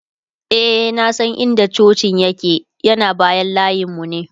e na San in da cocin yake ,yana bayan layinmu ne